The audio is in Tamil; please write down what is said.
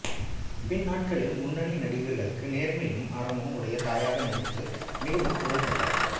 பின்னாட்களில் முன்னணி நடிகர்களுக்கு நேர்மையும் அறமும் உடைய தாயாக நடித்து மிகவும் புகழ் பெற்றார்